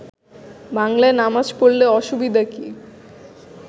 বাংলায় নামাজ পড়লে অসুবিধা কি